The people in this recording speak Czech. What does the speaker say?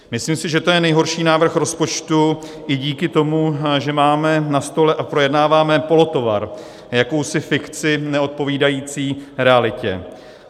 Myslím si, že to je nejhorší návrh rozpočtu i díky tomu, že máme na stole a projednáváme polotovar, jakousi fikci neodpovídající realitě.